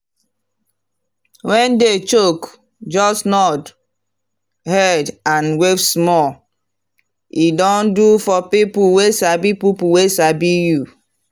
when day choke just nod head and wave small. e don do for people wey sabi people wey sabi you.